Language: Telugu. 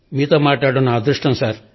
నమస్కారం సార్ మీతో మాట్లాడడం నా అదృష్టం సార్